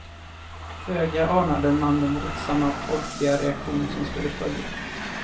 Föga anade man den våldsamma folkliga reaktion som skulle följa.